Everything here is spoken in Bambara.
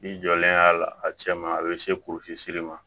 I jɔlen a la a cɛ ma a bɛ se kurusili ma